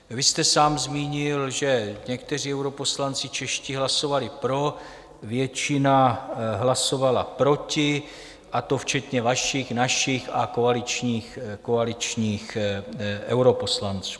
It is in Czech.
Vy jste sám zmínil, že někteří europoslanci čeští hlasovali pro, většina hlasovala proti, a to včetně vašich, našich a koaličních europoslanců.